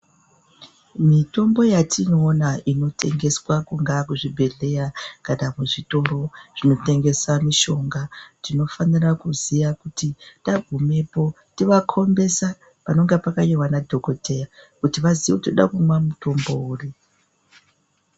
Mitombo yatinoona inotengeswa kungaa kuzvi bhedhleya kana kuzvitoro zvinotengesa mishonga tinofanira kuziya kuti tagumepo tinova kombesa panenge pakanyorwa na dhokodheya kuti vaziye kuti toda kumwa mutombo uri.